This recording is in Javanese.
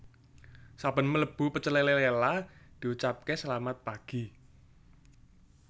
Saben mlebu Pecel Lele Lela diucapke selamat pagi